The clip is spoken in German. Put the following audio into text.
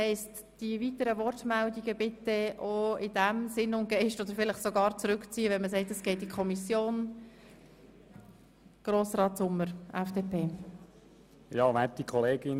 Ich bitte Sie also, die weiteren Wortmeldungen entsprechend anzupassen oder sie sogar auf diese zu verzichten.